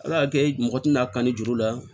Ala y'a kɛ mɔgɔ tɛna kanni juru la